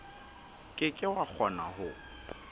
ke ke wa kgona ho